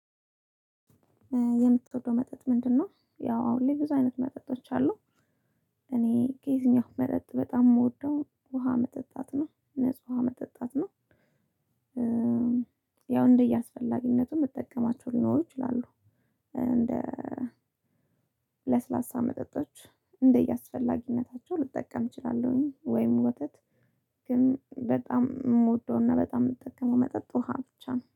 የምትወደው መጠጥ ምንድነው? ያው አሁን ላይ ብዙ አይነት መጠጦች አሉ። እኔ ከዚህኛው መጠጥ በጣም የምወደው ውሃ መጠጣት ነው ንጹህ ውሃ መጠጣት ነው። ያው እንደየአስፈላጊነቱ እምጠቀማቸው ሊኖሩ ይችላሉ። እንደ ለስላሳ መጠጦች እንደየአስፈላጊነታቸው ልጠቀም እችላለሁኝ ወይም ወተት። ግን በጣም የምወደውና በጣም የምጠቀመው መጠጥ ውሃ ብቻ ነው